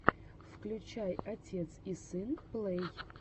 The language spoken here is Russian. включай отец и сын плэй